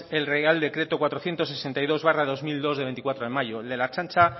el real decreto cuatrocientos sesenta y dos barra dos mil dos del veinticuatro de mayo el de la ertzaintza